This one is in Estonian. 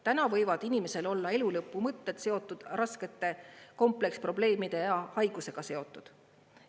Täna võivad inimesel olla elulõpu mõtted seotud raskete kompleksprobleemide ja haigusega seotud.